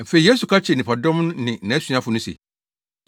Afei, Yesu ka kyerɛɛ nnipadɔm no ne nʼasuafo no se,